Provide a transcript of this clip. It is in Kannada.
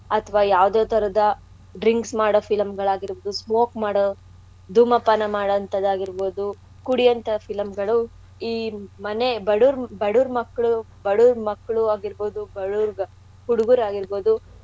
ಅಥ್ವಾ ಯಾವ್ದೇ ಥರದ drinks ಮಾಡೋ film ಗಳ್ ಆಗಿರ್ಬೌದು smoke ಮಾಡೋ ಧೂಮಪಾನ ಮಾಡೋಂಥಾದ್ದಾಗಿರ್ಬೌದು ಕುಡ್ಯೋಂತ film ಗಳು ಈ ಮನೆ ಬಡುವ್ರ್~ ಬಡುವ್ರ್ ಮಕ್ಕ್ಳು ಬಡುವ್ರ್ ಮಕ್ಕ್ಳು ಆಗಿರ್ಬೌದು ಬಡುವ್ರ್ ಹುಡುಗ್ರ್ ಆಗಿರ್ಬೌದು.